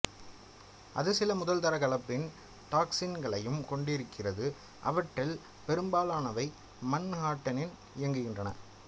அது சில முதல்தர கலப்பின டாக்சிகளையும் கொண்டிருக்கிறது அவற்றில் பெரும்பாலானவை மன்ஹாட்டனில் இயங்குகின்றன